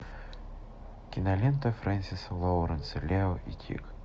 кинолента фрэнсиса лоуренса лео и тиг